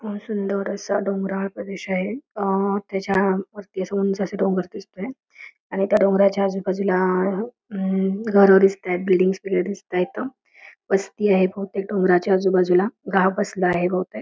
हे एक चौक आहे ह्या चौकामध्ये पोस्टमनचा पुतळा उभा आहे त्या पोस्टमन च्या पाठीमागे बिल्डिंग दिसते ती बहुतेक पोस्ट ऑफिस ची बिल्डिंग आहे आणि--